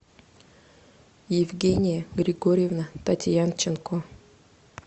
евгения григорьевна татьянченко